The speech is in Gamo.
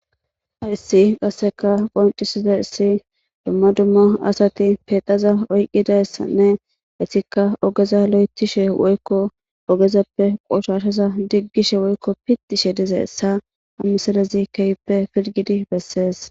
Hayssi qasseka qoncisiza issi dumma dumma asati pedaza oyqqidayssanne esika ogeza lo'ethishe woykko ogezappe qoshashaza diggishe woykko pitishe dize esa ha misalezi keyppe pilgidi bessees.